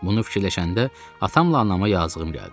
Bunu fikirləşəndə atamla anama yazığım gəldi.